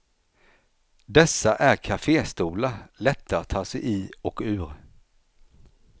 Dessa är kaféstolar, lätta att ta sig i och ur.